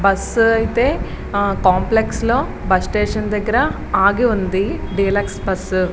Bus అయితే complex లో bus station దగ్గర ఆగి ఉంది డీలక్స్ బస్ .